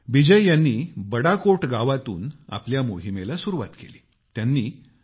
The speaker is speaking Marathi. मग काय बिजय यांनी बड़ाकोट गावातून आपल्या मोहिमेला सुरुवात केली